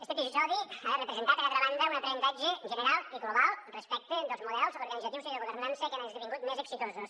este episodi ha de representar per altra banda un aprenentatge general i global respecte dels models organitzatius i de governança que han esdevingut més exitosos